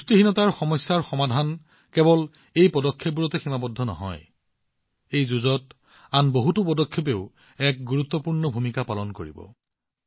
পুষ্টিহীনতাৰ সমস্যা সমাধান কেৱল এই পদক্ষেপবোৰতে সীমাবদ্ধ নহয় এই যুঁজত আন বহুতো পদক্ষেপেও এক গুৰুত্বপূৰ্ণ ভূমিকা পালন কৰিব লাগিব